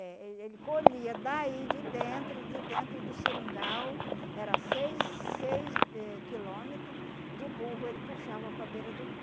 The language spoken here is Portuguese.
É, ele ele colhia daí de dentro, de dentro do seringal, era seis seis eh quilômetro de burro, ele puxava para a beira do rio.